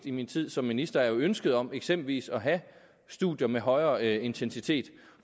i min tid som minister er jo ønsket om eksempelvis at have studier med højere intensitet